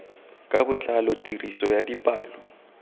ka botlalo tiriso ya dipalo